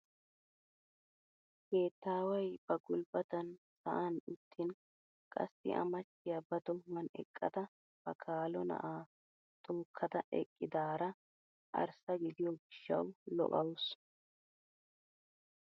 Keettaway ba gulbbatan sa;'an uttin qassi a machchiyaa ba tohuwan eqqada ba kalo na'aa tookada eqqidaara arssa gidiyoo gishshawu lo"awus!